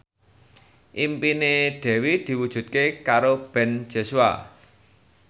impine Dewi diwujudke karo Ben Joshua